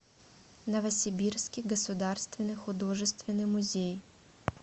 новосибирский государственный художественный музей